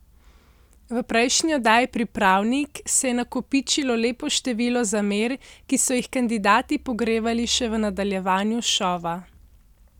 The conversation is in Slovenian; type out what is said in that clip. V prejšnji oddaji Pripravnik se je nakopičilo lepo število zamer, ki so jih kandidati pogrevali še v nadaljevanju šova.